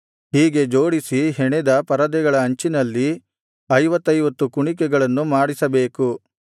ಹೀಗೆ ಜೋಡಿಸಿ ಹೆಣೆದ ಪರದೆಗಳ ಅಂಚಿನಲ್ಲಿ ಐವತ್ತೈವತ್ತು ಕುಣಿಕೆಗಳನ್ನು ಮಾಡಿಸಬೇಕು